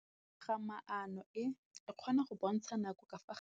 Toga-maanô e, e kgona go bontsha nakô ka fa gare ga metsi.